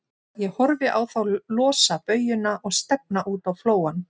Ég horfði á þá losa baujuna og stefna út á flóann.